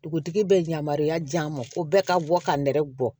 Dugutigi bɛ yamaruya di an ma ko bɛɛ ka bɔ ka nɛrɛ bɔ